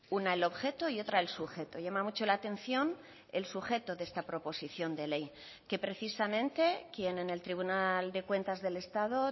una el objeto y otra el sujeto llama mucho la atención el sujeto de esta proposición de ley que precisamente quien en el tribunal de cuentas del estado